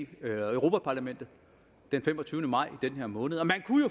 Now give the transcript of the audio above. europa parlamentet den femogtyvende maj altså den her måned